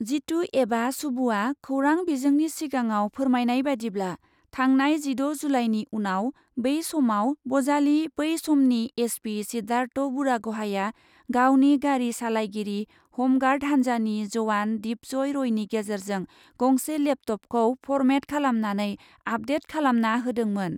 जितु एबा सुबुआ खौरां बिजोंनि सिगाङाव फोरमायनाय बादिब्ला, थांनाय जिद' जुलाइनि उनाव बे समाव बजालि बै समनि एसपि सिद्धार्थ बुरागहाइआ गावनि गारि सालायगिरि हम गार्ड हान्जानि जवान दिपजय रयनि गेजेरजों गंसे लेपटपखौ फरमेट खालामनानै आपडेट खालामना होदोंमोन।